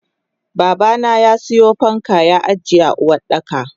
Babana yasiyo fanka ya ajiye a Uwardaka.